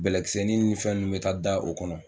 Bɛlɛkisɛnin ni fɛn ninnu bɛ taa da o kɔnɔ